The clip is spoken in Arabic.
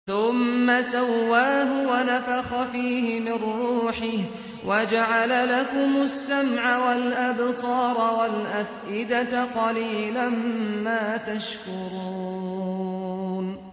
ثُمَّ سَوَّاهُ وَنَفَخَ فِيهِ مِن رُّوحِهِ ۖ وَجَعَلَ لَكُمُ السَّمْعَ وَالْأَبْصَارَ وَالْأَفْئِدَةَ ۚ قَلِيلًا مَّا تَشْكُرُونَ